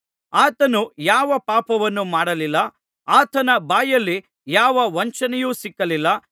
ಆತನು ಯಾವ ಪಾಪವನ್ನೂ ಮಾಡಲಿಲ್ಲ ಆತನ ಬಾಯಲ್ಲಿ ಯಾವ ವಂಚನೆಯೂ ಸಿಕ್ಕಲಿಲ್ಲ